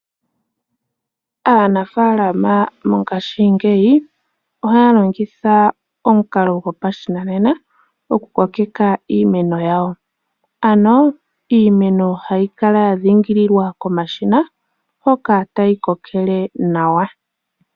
Aanafaalama mongashingeyi ohaa longitha omukalo gopashinanena okukokeka iimeno yawo, ano iimeno hayi kala yadhingililwa komashina hoka tayi kokele nawa.